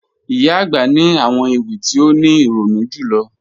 Iyà agbà ni àwọn ewi ti o ni ironu julọ